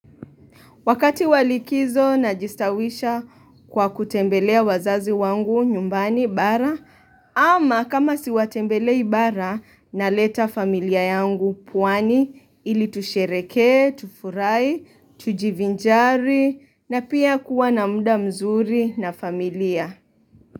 Wakati wa likizo najistawisha kwa kutembelea wazazi wangu nyumbani bara ama kama siwatembelei bara naleta familia yangu pwani ili tusherekee, tufurai, tujivinjari na pia kuwa na muda mzuri na familia.